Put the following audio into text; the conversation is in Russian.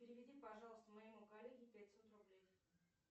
переведи пожалуйста моему коллеге пятьсот рублей